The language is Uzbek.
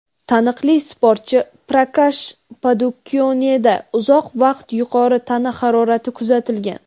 taniqli sportchi Prakash Padukoneda uzoq vaqt yuqori tana harorati kuzatilgan.